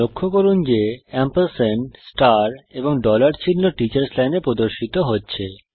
লক্ষ্য করুন যে এএমপি এবং চিহ্ন টিচার্স লাইনে প্রদর্শিত হচ্ছে